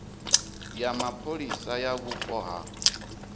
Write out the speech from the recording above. ya mapholisa ya vhupo ha